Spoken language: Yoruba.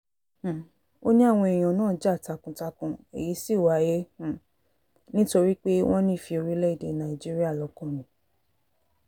um ó ní àwọn èèyàn náà ja takuntakun èyí sì wáyé um nítorí pé wọ́n nífẹ̀ẹ́ orílẹ̀‐èdè nàíjíríà lọ́kàn ni